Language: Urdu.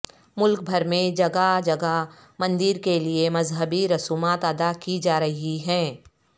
ملک بھر میں جگہ جگہ مندر کے لیے مذہبی رسومات ادا کی جا رہی ہیں